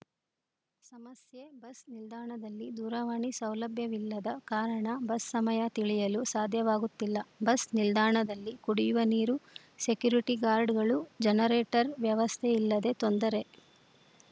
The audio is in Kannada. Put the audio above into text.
ಸಮಸ್ಯೆ ಬಸ್‌ ನಿಲ್ದಾಣದಲ್ಲಿ ದೂರವಾಣಿ ಸೌಲಭ್ಯವಿಲ್ಲದ ಕಾರಣ ಬಸ್‌ ಸಮಯ ತಿಳಿಯಲು ಸಾಧ್ಯವಾಗುತ್ತಿಲ್ಲ ಬಸ್‌ ನಿಲ್ದಾಣದಲ್ಲಿ ಕುಡಿಯುವ ನೀರು ಸೆಕ್ಯುರಿಟಿ ಗಾರ್ಡಗಳು ಜನರೇಟರ್‌ ವ್ಯವಸ್ಥೆಯಿಲ್ಲದೆ ತೊಂದರೆ